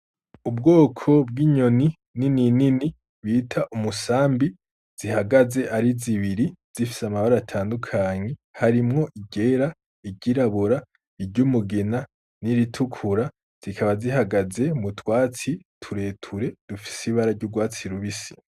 Ubwoko bw'inyoni nininini bita umusambi zihagaze ari zibiri zifise amabara atandukanye harimwo iryera, iryirabura, iry'umugina n'iritukura zikaba zihagaze mu twatsi tureture dufise ibara ry'urwasi rubisi.